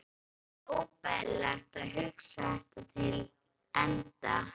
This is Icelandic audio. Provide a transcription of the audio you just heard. Henni fannst óbærilegt að hugsa þetta til enda.